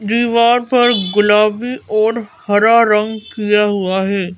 दिवाल पर गुलाबी और हरा रंग किया हुआ है।